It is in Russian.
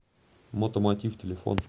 мотомотив телефон